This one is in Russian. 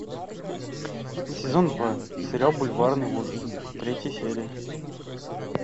сезон два сериал бульварные ужасы третья серия